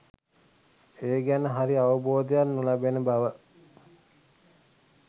ඒ ගැන හරි අවබෝධයක් නොලැබෙන බව.